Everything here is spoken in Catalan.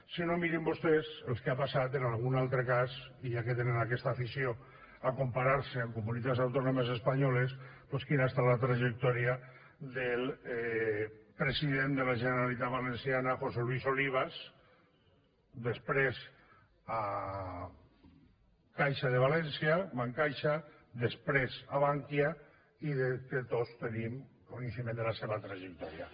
si no mirin vostès el que ha passat en algun altre cas ja que tenen aquesta afició a comparar se amb comunitats autònomes espanyoles doncs quina ha estat la trajectòria del president de la generalitat valenciana josé luis olivas després a caixa de valència bancaixa després a bankia i després tots tenim coneixement de la seva trajectòria